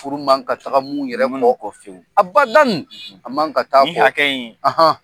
Furu man ka taga ninnu yɛrɛ kɔ a bada a man ka taa nin hakɛ in